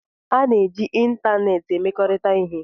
A na-eji ịntanetị emekọrịta ihe